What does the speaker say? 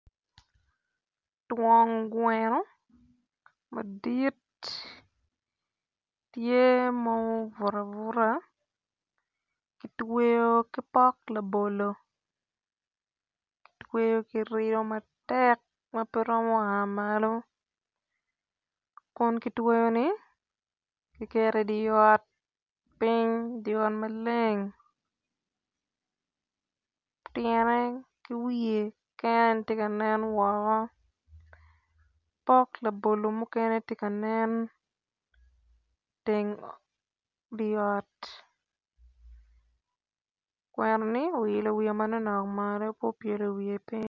Twon gweno madit tye ma obuto abuta kitweyo ki pok labolo kitweyo ki riyo matek ma pe romo a malo kun kitweyo ni kiketo idye ot piny idye ot maleng tyene ki wiye keken aye tye ka nen woko pok labolo mukene tye kanen iteng dye ot gweno ni oilo wiye manoknok malo pe opyelo wiye piny